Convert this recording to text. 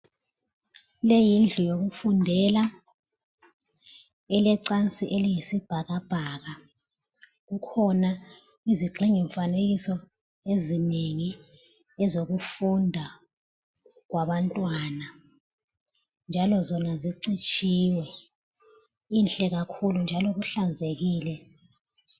Leyi yindlu yokufundela elecansi eliyisibhakabhaka. Kukhona izigxingi mfanekiso ezinengi ezokufunda kwabantwana njalo zona zicitshiwe. Inhle kakhulu njalo kuhlanzekile.